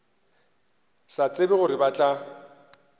sa tsebe gore ba tla